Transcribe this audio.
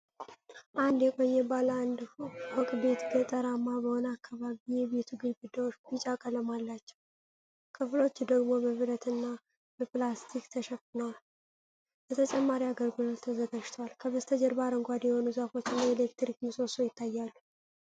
አንድ የቆየ ባለ አንድ ፎቅ ቤት ገጠራማ በሆነ አካባቢ፣ የቤቱ ግድግዳዎች ቢጫ ቀለም አላቸው፣ ክፍሎቹ ደግሞ በብረትና በፕላስቲክ ተሸፍነው ለተጨማሪ አገልግሎት ተዘጋጅተዋል። ከበስተጀርባ አረንጓዴ የሆኑ ዛፎችና የኤሌክትሪክ ምሰሶ ይታያሉ።